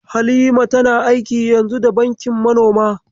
Halima tana aiki yanzu da bankin manoma.